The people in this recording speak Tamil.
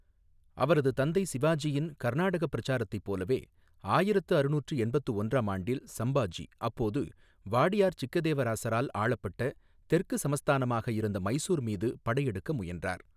அவரது தந்தை சிவாஜியின் கர்நாடகா பிரச்சாரத்தைப் போலவே, ஆயிரத்து அறுநூற்று எண்பத்து ஒன்றாம் ஆண்டில் சம்பாஜி அப்போது வாடியார் சிக்கதேவராசரால் ஆளப்பட்ட தெற்கு சமஸ்தானமாக இருந்த மைசூர் மீது படையெடுக்க முயன்றார்.